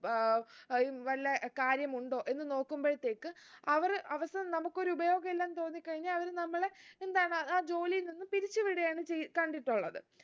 ഏർ അഹ് ഉം വല്ല കാര്യമുണ്ടോ എന്ന് നോക്കുമ്പോഴ്തേക് അവർ അവസാനം നമുക്കൊരുപയോഗില്ലാന്ന് തോന്നി കഴിഞ്ഞാ അവര് നമ്മളെ എന്താണ് ആ ജോലിയിൽ നിന്നും പിരിച്ച് വിടുകയാണ് ചെയ് കണ്ടിട്ടുള്ളത്